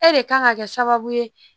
E de kan ka kɛ sababu ye